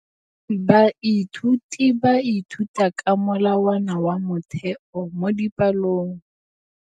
Baithuti ba ithuta ka molawana wa motheo mo dipalong.